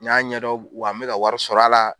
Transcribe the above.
N y'a ɲɛ dɔn, wa n bɛ ka wariw sɔrɔ a la.